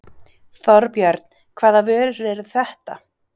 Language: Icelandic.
Þorbjörn: Hvaða vörur eru þetta?